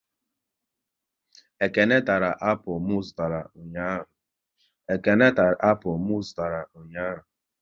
Ekene tara apụl m zụtara ụnyaahụ